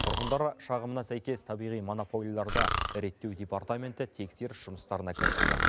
тұрғындар шағымына сәйкес табиғи монополияларды реттеу департаменті тексеріс жұмыстарына кірісті